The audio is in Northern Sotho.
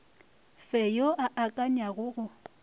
fe yo a akanyago go